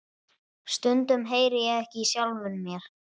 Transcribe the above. Stundum heyri ég ekki í sjálfum mér.